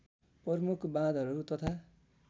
प्रमुख बाँधहरू तथा